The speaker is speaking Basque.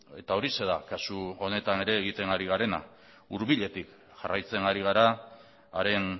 eta horixe da kasu honetan ere egiten ari garena hurbiletik jarraitzen ari gara haren